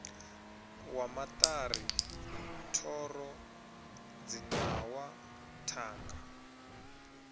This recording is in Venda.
wa maṱari thoro dzinawa thanga